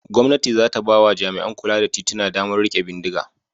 Gwamnati za ta ba wa jami'an kula da tituna damar riƙe bindiga.